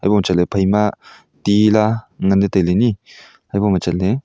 koh chatle phaima tila ngan le taile ni haboh chatle.